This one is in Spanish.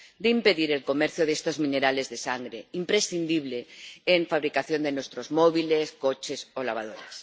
de impedir el comercio de estos minerales de sangre, imprescindibles en la fabricación de nuestros móviles, coches o lavadoras.